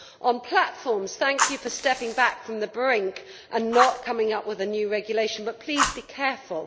On platforms, Commissioner, thank you for stepping back from the brink and not coming up with a new regulation, but please be careful.